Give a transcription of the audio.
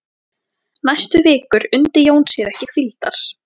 Næstu vikur undi Jón sér ekki hvíldar.